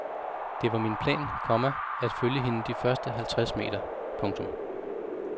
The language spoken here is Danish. Det var min plan, komma at følge hende de første halvtreds meter. punktum